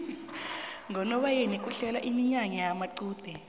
ngonobayeni kuhlelwa iminyanya yamaqude